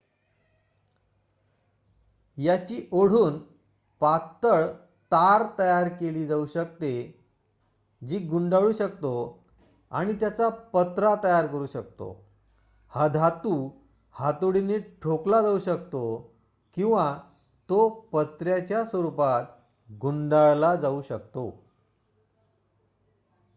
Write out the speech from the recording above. याची ओढून पातळ तार तयार केली जाऊ शकते जी गुंडाळू शकतो आणि त्याचा पत्रा तयार करू शकतो हा धातू हातोडीने ठोकला जाऊ शकतो किंवा तो पत्र्याच्या स्वरुपात गुंडाळला जाऊ शकतो